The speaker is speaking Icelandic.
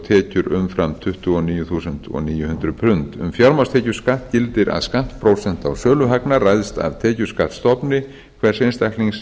tekjur umfram tuttugu og níu þúsund níu hundruð pund um fjármagnstekjuskatt gildir að skattprósenta á söluhagnað ræðst af tekjuskattsstofni hvers einstaklings